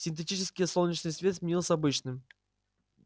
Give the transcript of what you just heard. синтетический солнечный свет сменился обычным